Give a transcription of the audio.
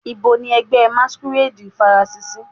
Nibo ni ẹgbẹ masquerade farasin si?